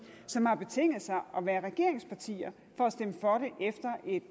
som har betinget sig at være regeringsparti for